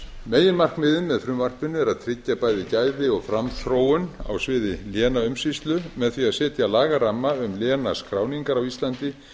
meginmarkmiðið með frumvarpinu er að tryggja bæði gæði og framþróun á sviði lénaumsýslu með því að setja lagaramma um lénaskráningar á íslandi